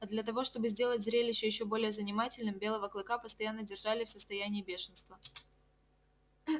а для того чтобы сделать зрелище ещё более занимательным белого клыка постоянно держали в состоянии бешенства